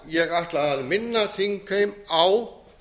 ég ætla að minna þingheim á